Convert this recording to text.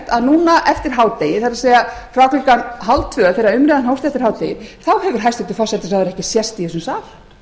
að núna eftir hádegið það er frá klukkan hálftvö þegar umræðan hófst eftir hádegið þá hefur hæstvirtur forsætisráðherra ekki sést í þessum sal